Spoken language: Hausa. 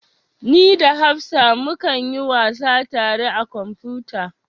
Ni da hafsa mu kan yi wasa tare a kwamfuta